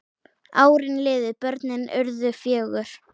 Árin liðu, börnin urðu fjögur.